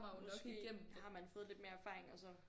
Måske har man fået lidt mere erfaringer og sådan